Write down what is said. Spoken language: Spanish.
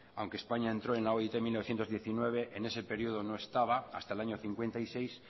aunque españa entró en la oit en mila bederatziehun eta hemeretzi en ese periodo no estaba hasta el año cincuenta y seis